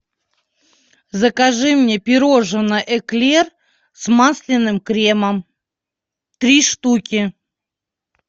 закажи мне пирожное эклер с масляным кремом три штуки